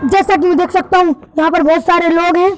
जैसा कि मैं देख सकता हूं यहाँ पर बहुत सारे लोग हैं।